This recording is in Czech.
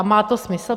A má to smysl?